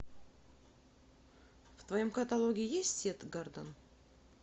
в твоем каталоге есть сет гордон